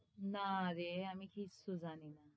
নারে আমি কিচ্ছু জানিনা,